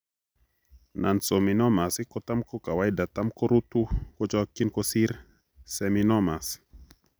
Nonseminomas kotam kokawaida tam koruutu kochokyin kosir seminomas